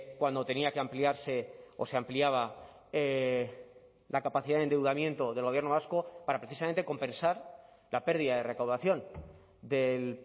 cuando tenía que ampliarse o se ampliaba la capacidad de endeudamiento del gobierno vasco para precisamente compensar la pérdida de recaudación del